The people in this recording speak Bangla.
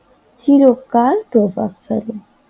চিরকাল প্রভাবশালী